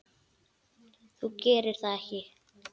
Þú gerir það ekki!